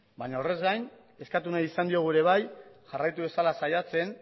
baina horrez gain eskatu nahi izan diogu ere bai jarraitu dezala saiatzen